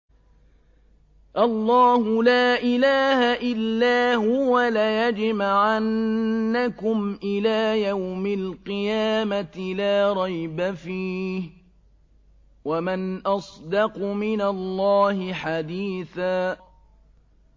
اللَّهُ لَا إِلَٰهَ إِلَّا هُوَ ۚ لَيَجْمَعَنَّكُمْ إِلَىٰ يَوْمِ الْقِيَامَةِ لَا رَيْبَ فِيهِ ۗ وَمَنْ أَصْدَقُ مِنَ اللَّهِ حَدِيثًا